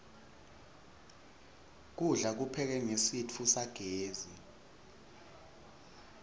kudla kuphekwe ngesitfu sagezi